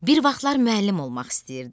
Bir vaxtlar müəllim olmaq istəyirdi.